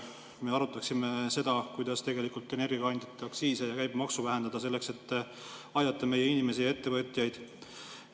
Me arutaksime seda, kuidas tegelikult energiakandjate aktsiise ja käibemaksu vähendada, selleks et aidata meie inimesi ja ettevõtjaid.